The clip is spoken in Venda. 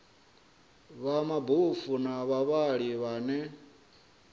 vha mabofu na vhavhali vhane